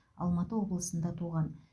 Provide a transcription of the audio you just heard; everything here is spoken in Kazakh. алматы облысында туған